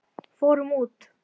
Fórum út!